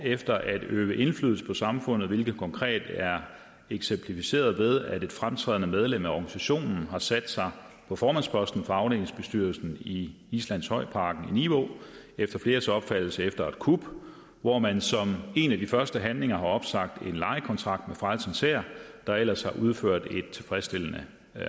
efter at øve indflydelse på samfundet hvilket konkret er eksemplificeret ved at et fremtrædende medlem af organisationen har sat sig på formandsposten for afdelingsbestyrelsen i islandshøjparken i nivå efter fleres opfattelse efter et kup hvor man som en af de første handlinger har opsagt en lejekontrakt med frelsens hær der ellers har udført et tilfredsstillende